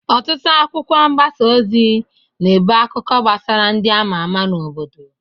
Ọtụtụ akwụkwọ mgbasa ozi na-ebụ akụkọ gbasara ndị ama ama n'obodo.